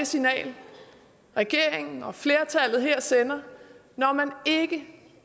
signal regeringen og flertallet her sender når man ikke